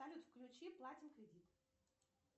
салют включи платим кредит